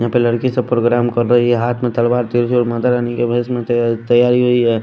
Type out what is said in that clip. यहाँ पे लड़की सब प्रोग्राम कर रही है हाथ में तलवार माता रानी के भैस में तैयारी हुई है।